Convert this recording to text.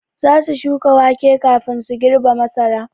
Za su shuka wake kafin su girbe masara.